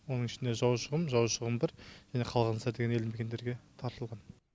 оның ішінде жаушықұм жаушықұм бір қалған елді мекендерге тартылған